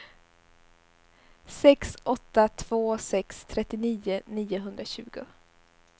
sex åtta två sex trettionio niohundratjugo